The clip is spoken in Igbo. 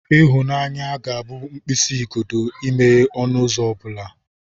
Ịhụnanya ga-abụ mkpịsị ugodi imeghe ọnụ ụzọ ọ bụla.